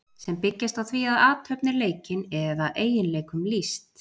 sem byggjast á því að athöfn er leikin eða eiginleikum lýst